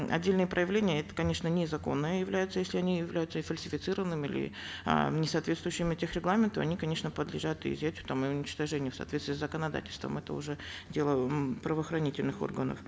отдельные проявления это конечно незаконно являются если они являются фальсифицированными или э не соответствующими тех регламенту они конечно подлежат и изъятию там и уничтожению в соответствии с законодательством это уже дело м правоохранительных органов